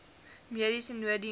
mediese nooddiens voor